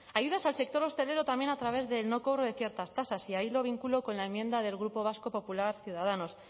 ayudas al sector hostelero también a través del no cobro de ciertas tasas y ahí lo vinculo con la enmienda del grupo vasco popular ciudadanos